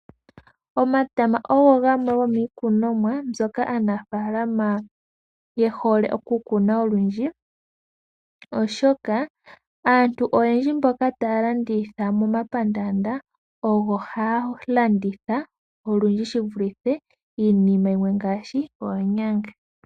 Omatama ogo gamwe go mwiikunoma mbyoka aanfalama ye hole oku kuna olundji, oshoka aantu oyendji mboka taya landitha mo mapandanda ogo landitha olundji shi vulithe iinima yimwe ngaashi oonyanga.